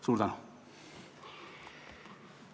Suur tänu!